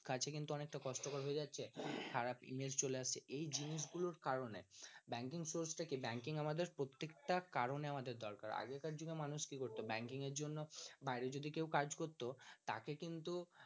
কাছে কিন্তু অনেকটা কস্টকর হয়ে যাচ্ছে খারাপ image চলে আসছে এই জিনিসগুলো র কারনে banking source তাকে banking আমাদের প্রত্যেকটা কারনে আমাদের দরকার আগেকার দিনে মানুষ কি করত banking এর জন্য বাইরে যদি কেউ কাজ করত তাকে কিন্তু